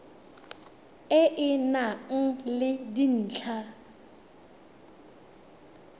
e e nang le dintlha